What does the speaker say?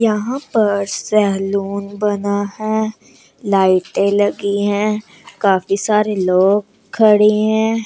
यहां पर सहलून बना है। लाइटें लगी हैं। काफी सारे लोग खड़े हैं।